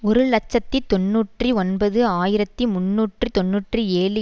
ஒரு இலட்சத்தி தொன்னூற்றி ஒன்பது ஆயிரத்தி முன்னூற்று தொன்னூற்றி ஏழு